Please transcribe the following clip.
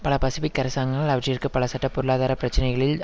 பல பசிபிக் அரசாங்கங்கள் அவற்றிற்கு பல சட்ட பொருளாதார பிரச்சினைகளில்